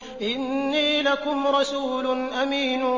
إِنِّي لَكُمْ رَسُولٌ أَمِينٌ